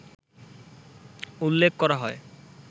উল্লেখ করা হয়